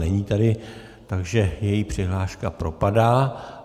Není tady, takže její přihláška propadá.